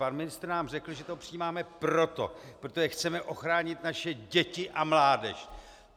Pan ministr nám řekl, že to přijímáme proto, protože chceme ochránit naše děti a mládež.